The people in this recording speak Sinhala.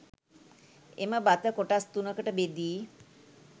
එම බත කොටස් 3 කට බෙදී